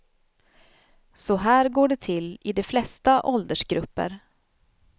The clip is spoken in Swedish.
Så här går det till i de flesta åldersgrupper.